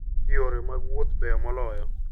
Yore mag wuoth beyo moloyo.